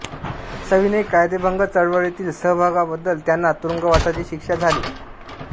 सविनय कायदेभंग चळवळीतील सहभागाबद्दल त्यांना तुरुंगवासाची शिक्षा झाली